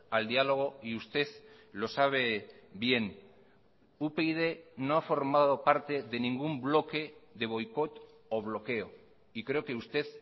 al diálogo y usted lo sabe bien upyd no ha formado parte de ningún bloque de boicot o bloqueo y creo que usted